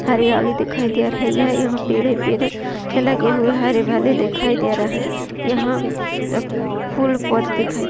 हरियाली दिखाई दे रही है। यहा लेगे हुए है। हरे वाले दिखाई दे रहे हैं। यह फूल पौधे दिखाई दे--